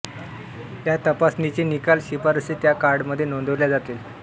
या तपासणीचे निकाल व शिफारसी त्या कार्डमध्ये नोंदविल्या जातील